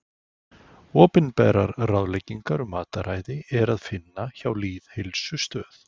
opinberar ráðleggingar um mataræði er að finna hjá lýðheilsustöð